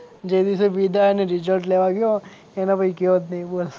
જે દિવસે વિદાય અને રિજલ્ટ લેવા ગયો એના પછી ગયો જ નહીં બોલ.